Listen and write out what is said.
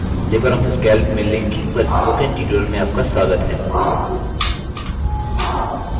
Libre office calc में linking पर spoken tutorial में आपका स्वागत है